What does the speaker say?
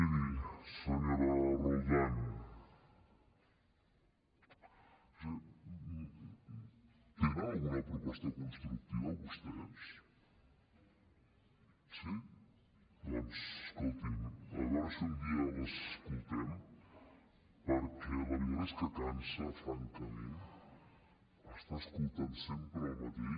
miri senyora roldán tenen alguna proposta constructiva vostès sí doncs escolti’m a veure si un dia l’escoltem perquè la veritat és que cansa francament estar escoltant sempre el mateix